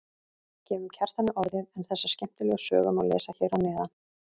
Gefum Kjartani orðið en þessa skemmtilegu sögu má lesa hér að neðan.